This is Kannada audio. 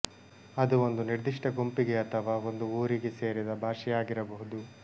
ಅದು ಒಂದು ನಿರ್ದಿಷ್ಟ ಗುಂಪಿಗೆ ಅಥವಾ ಒಂದು ಊರಿಗೆ ಸೇರಿದ ಭಾಷೆಯಾ ಗಿರಬಹುದು